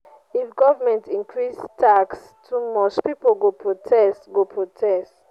if government increase tax too much pipo go protest go protest